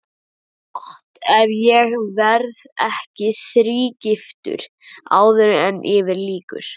Gott ef ég verð ekki þrígiftur áður en yfir lýkur.